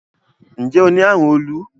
Nje o ni arun olu?